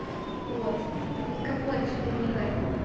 вот никого отсюда не ганю